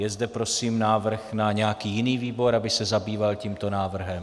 Je zde prosím návrh na nějaký jiný výbor, aby se zabýval tímto návrhem?